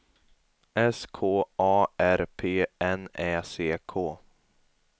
S K A R P N Ä C K